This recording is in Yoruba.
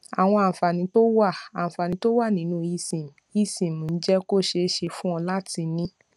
àwọn àǹfààní tó wà àǹfààní tó wà nínú esim esim ń jé kó ṣeé ṣe fún ọ láti ní